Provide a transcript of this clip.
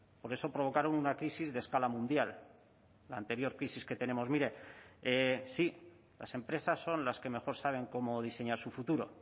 por eso provocaron una crisis de escala mundial la anterior crisis que tenemos mire sí las empresas son las que mejor saben cómo diseñar su futuro